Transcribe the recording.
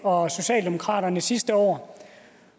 og socialdemokraterne sidste år